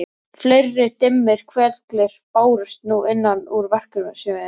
Fleiri dimmir hvellir bárust nú innan úr verksmiðju